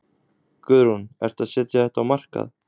Guðrún: Ertu að setja þetta á markað?